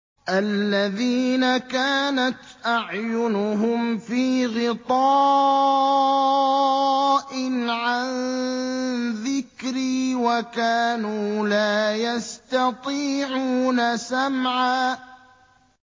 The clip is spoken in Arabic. الَّذِينَ كَانَتْ أَعْيُنُهُمْ فِي غِطَاءٍ عَن ذِكْرِي وَكَانُوا لَا يَسْتَطِيعُونَ سَمْعًا